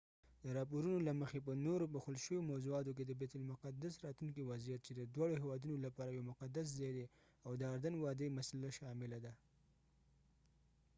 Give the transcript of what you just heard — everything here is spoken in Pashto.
د راپورونو له مخې په نورو پوښل شويو موضوعاتو کې د بیت المقدس راتلونکی وضعيت چې د دواړو هیوادونو لپاره يو مقدس ځای دی او د اردن وادۍ مسله شامله ده